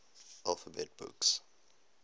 alphabet books